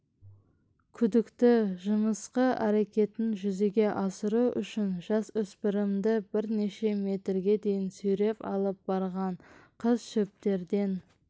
күдікті жымысқы әрекетін жүзеге асыру үшін жасөспірімді бірнеше метрге дейін сүйреп алып барған қыз шөптерден